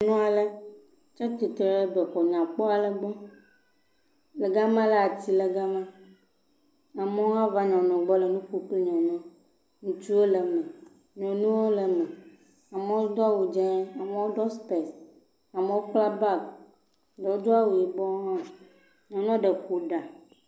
Nyɔnu ale tsi tre ɖe bɛxɔ nyakpɔ aɖe gbɔ. Le gama la, atiwo le gama. Amewo hã nyɔnua gbɔ le nu ƒom kple nyɔnua. Ŋutsuwo le eme. Nyɔnuwo le eme. Amewo do awu dzẽee. Amewo ɖɔ sipɛsi. Amewo kpla baagi. Eɖewo do awu yibɔɔ hã. Nyɔnu aɖe ƒo ɖa.